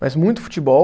Mas muito futebol.